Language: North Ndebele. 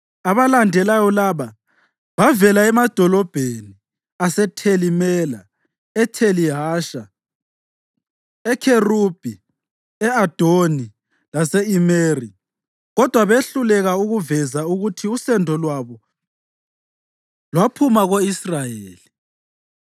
Abalandelayo laba bavela emadolobheni aseTheli Mela, eTheli Hasha, eKherubi, e-Adoni, lase-Imeri, kodwa behluleka ukuveza ukuthi usendo lwabo lwaphuma ko-Israyeli: